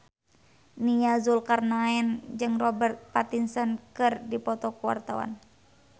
Nia Zulkarnaen jeung Robert Pattinson keur dipoto ku wartawan